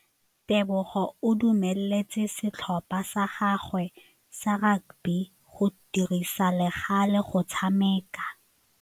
Tebogô o dumeletse setlhopha sa gagwe sa rakabi go dirisa le galê go tshameka.